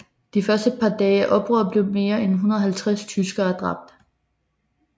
De første par dage af oprøret blev mere end 150 tyskere dræbt